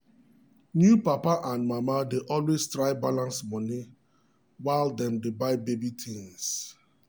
new papa and mama dey always try balance money while dem dey buy baby things.